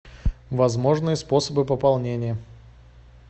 возможные способы пополнения